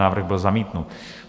Návrh byl zamítnut.